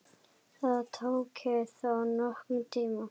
Það taki þó nokkurn tíma.